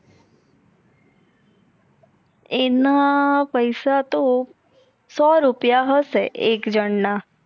એના પૈસા ત સો રૂપયા હસે એક જાણ ના